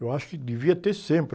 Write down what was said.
Eu acho que devia ter sempre.